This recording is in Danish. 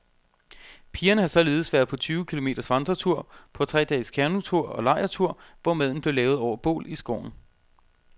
Pigerne har således været på tyve kilometers vandretur, på tredages kanotur og lejrtur, hvor maden blev lavet over bål i skoven.